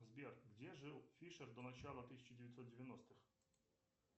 сбер где жил фишер до начала тысяча девятьсот девяностых